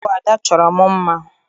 Ọ bụ Ada chọrọ m mma.